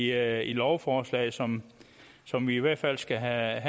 er i lovforslaget som som vi i hvert fald skal have